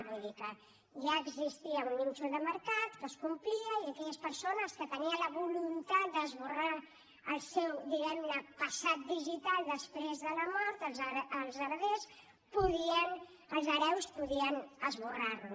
vull dir que ja existia un nínxol de mercat que es complia i aquelles persones que tenien la voluntat d’esborrar el seu diguem ne passat digital després de la mort els hereus podien esborrar lo